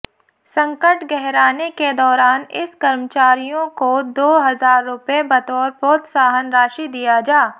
संकट गहराने के दौरान इस कर्मचारियों को दो हजार रुपये बतौर प्रोत्साहन राशि दिया जा